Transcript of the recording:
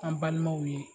An balimaw ye